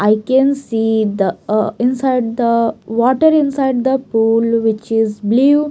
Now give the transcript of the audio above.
I can see the a inside the water inside the pool which is blue.